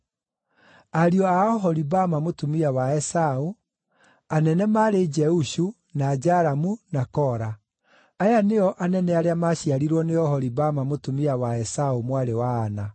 Ariũ a Oholibama mũtumia wa Esaũ: Anene maarĩ Jeushu, na Jalamu, na Kora. Aya nĩo anene arĩa maaciarirwo nĩ Oholibama mũtumia wa Esaũ mwarĩ wa Ana.